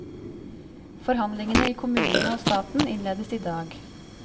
Forhandlingene i kommunene og staten innledes i dag.